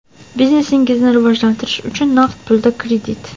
Biznesingizni rivojlantirish uchun naqd pulda kredit .